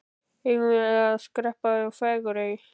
Eigum við ekki að skreppa í Fagurey?